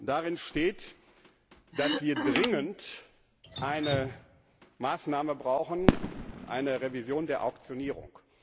Darin steht, dass wir dringend eine Maßnahme brauchen eine Revision der Auktionierung.